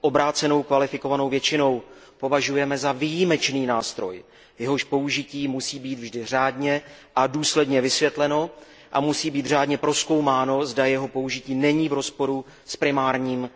obrácenou kvalifikovanou většinou považujeme za výjimečný nástroj, jehož použití musí být vždy řádně a důsledně vysvětleno, a musí být řádně prozkoumáno, zda jeho použití není v rozporu s primárním